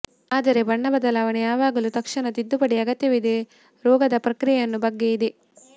ಆದರೆ ಬಣ್ಣ ಬದಲಾವಣೆ ಯಾವಾಗಲೂ ತಕ್ಷಣ ತಿದ್ದುಪಡಿ ಅಗತ್ಯವಿದೆ ರೋಗದ ಪ್ರಕ್ರಿಯೆಯನ್ನು ಬಗ್ಗೆ ಇದೆ